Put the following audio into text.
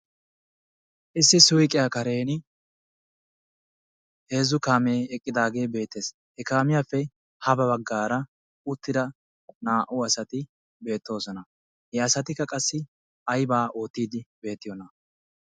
issi suyqqiyaa karen heezzu kaamee eqqidaagee beettees. he kaamiyaappe ha baggaara uttida naa"u asati beettooosna. he asatikka aybaa oottiidi beettiyoonaa.